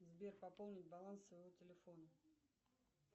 сбер пополнить баланс своего телефона